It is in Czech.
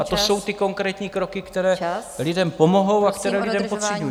A to jsou ty konkrétní kroky, které lidem pomohou a které lidé potřebují.